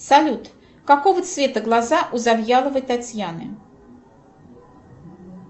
салют какого цвета глаза у завьяловой татьяны